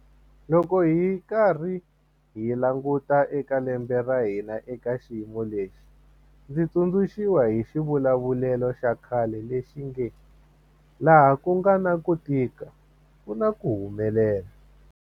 Loko hi karhi hi languta eka lembe ra hina eka xiyimo lexi, ndzi tsundzu xiwa hi xivulavulelo xa khale lexi nge 'laha ku nga na ku tika ku na ku humelela'.